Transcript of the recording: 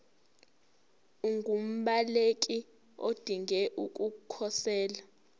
ungumbaleki odinge ukukhosela